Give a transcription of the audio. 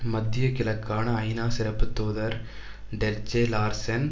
மத்திய கிழக்குக்கான ஐநா சிறப்பு தூதர் டெர்ஜெ லார்சென்